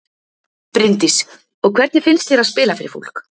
Bryndís: Og hvernig finnst þér að spila fyrir fólk?